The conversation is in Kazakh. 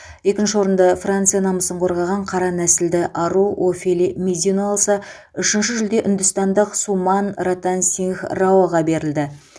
екінші орынды франция намысын қорғаған қара нәсілді ару офели мезино алса үшінші жүлде үндістандық суман ратансингх раоға берілді